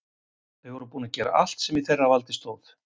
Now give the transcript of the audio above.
Þau voru búin að gera allt sem í þeirra valdi stóð.